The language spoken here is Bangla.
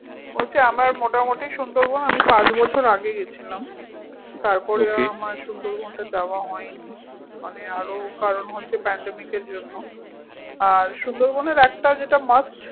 বলছি আমরা মোটামুটি সুন্দরবন আমি পাঁচ বছর আগে গেছিলাম। তারপরে আমার সুন্দরবনটা আর যাওয়া হয়নি মানে আরও কারন হচ্ছে pandemic এর জন্য আর সুন্দরবনের একটা যেটা must